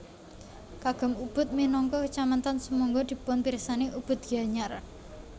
Kagem Ubud minangka kecamatan sumangga dipunpirsani Ubud Gianyar